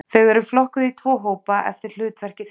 Þau eru flokkuð í tvo hópa eftir hlutverki þeirra.